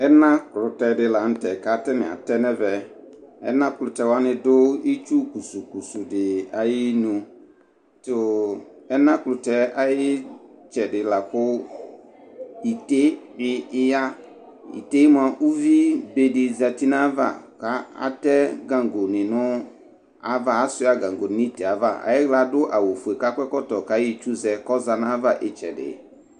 ɛna klutɛ di la nu tɛ ku ata ni atɛ nu ɛvɛ, ɛna klutɛ wʋani du itsu klusu klusu di ayu inu , tu ɛna klutɛ ayi itsɛdi la ku ite di bi ya , ite mʋa uvi be di zati nu ava ku atɛ gango ni nu ava, asuia gango nu ite yɛ ava, ayi ɣla adu awu fue ku akɔ ɛkɔtɔ ku ayɔ itsu zɛ ku ɔya nu ayi ava itsɛdi